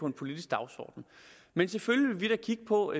en politisk dagsorden men selvfølgelig vil vi da kigge på